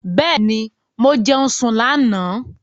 Bẹ́ẹ̀ni, mo jẹun sùn lánà